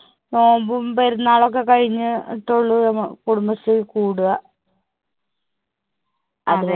നോമ്പും പെരുന്നാളൊക്കെ കഴിഞ്‍ ട്ടുള്ളു കുടുംബശ്രീ കൂടുക.